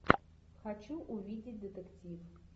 хочу увидеть детектив